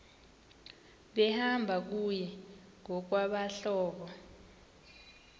behamba kunye ngokwabahlobo